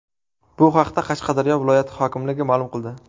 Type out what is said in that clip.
Bu haqda Qashqadaryo viloyati hokimligi ma’lum qildi .